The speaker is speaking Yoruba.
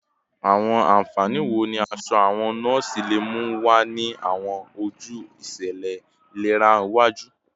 Awọn anfani wo ni aṣọ awọn nọọsi le mu wa ni awọn oju iṣẹlẹ ilera iwaju?